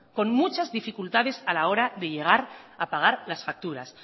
con muchas dificultades a la hora de llegar a pagar las facturas